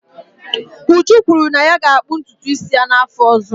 Uju kwuru na ya ga-akpụ ntutu isi ya n'afọ ọzọ.